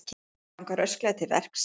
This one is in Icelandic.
Þú verður að ganga rösklega til verks.